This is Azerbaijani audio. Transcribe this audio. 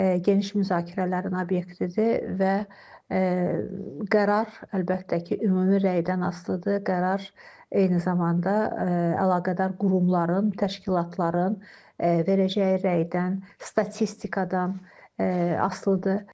Geniş müzakirələrin obyektidir və qərar əlbəttə ki, ümumi rəydən asılıdır, qərar eyni zamanda əlaqədar qurumların, təşkilatların verəcəyi rəydən, statistikadan asılıdır.